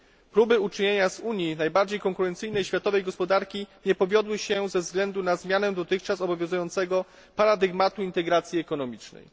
Próby uczynienia z Unii najbardziej konkurencyjnej światowej gospodarki nie powiodły się ze względu na zmianę dotychczas obowiązującego paradygmatu integracji ekonomicznej.